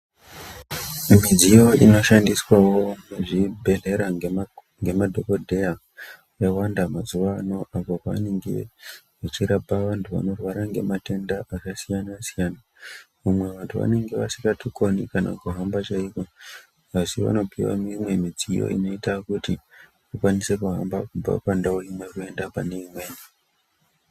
Mumidziyo inoshandiswawo muzvibhehlera ngemadhokodheya yawanda mazuano apo vanenge vachirapa vantu vanorwara ngematenda akasiyanasiyana vamwe vantu vanenge vasingatokoni kana kuhamba chaiko asi vanopiwa imwe midziyo inoita kuti vakwanise kuhamba kubva pandau imwe kuenda paneimweni.